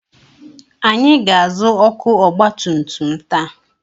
Anyị ga-azụ ọkụ ọgbatumtum taa.